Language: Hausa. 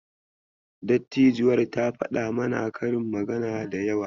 Dattijuwar ta faɗa mana karin magana da yawa.